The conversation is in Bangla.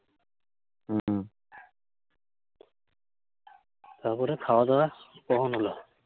তারপরে, খাওয়া দাওয়া কখন হলো?